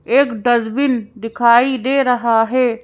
एक डस्बिन दिखाई दे रहा है।